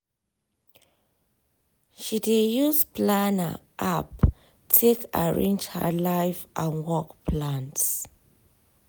she dey use planner app take arrange her life and work plans.